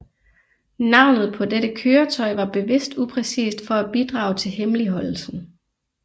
Navnet på dette køretøj var bevidst upræcist for at bidrage til hemmeligholdelsen